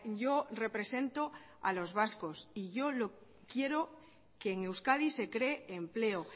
yo represento a los vascos y yo quiero que en euskadi se cree empleo